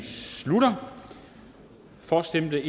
slutter for stemte